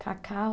Cacau?